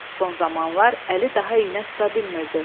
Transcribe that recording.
Son zamanlar əli daha iynə tuta bilmirdi.